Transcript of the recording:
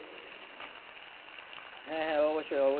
হ্যাঁ হ্যাঁ অবশ্যই অবশ্যই।